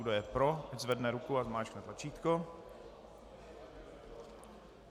Kdo je pro, ať zvedne ruku a zmáčkne tlačítko.